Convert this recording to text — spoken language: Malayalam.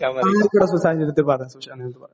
ആ ആയിക്കോട്ടെ സുശാന്തിന്റെടുത്ത് പറയാ സുശാന്തിന്റെടുത്ത് പറയാ.